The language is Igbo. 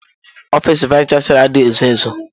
Ọfịs vayis chansilọ adịghị ezo ezo.